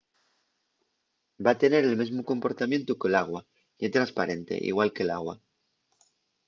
va tener el mesmu comportamientu que l’agua. ye tresparente igual que l’agua